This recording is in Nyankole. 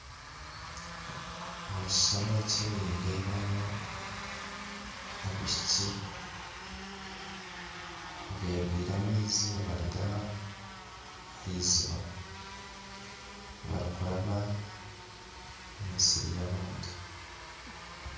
Omukishushani eki nindebamu abaishiki abegwire amaizi nibaruga ahiziba barikuraba omu misiri y'abandi.